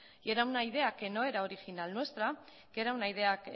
y era una idea que no era original nuestra que era una idea